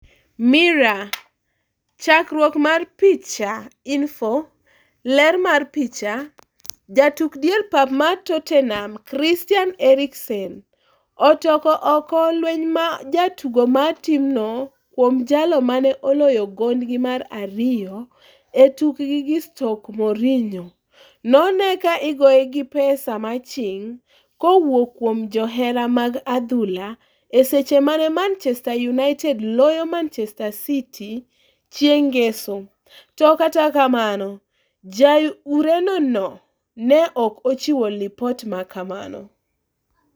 (Mirror) Chakruok mar picha, Inpho. Ler mar picha, Jatuk dier pap mar Tottenham Christian Eriksen otoko oko lweny ma jotugo mar timno kuom jalo mane oloyo gondgi mar ariyo e tukgi gi Stoke Mourinho nonee ka igoye gi pesa maching'kowuok kuom johera mag adhula e seche mane Manchester United loyo Manchester City chieng' ngeso, to kata kamano ja Ureno no ne ok ochiwo lipot makamano.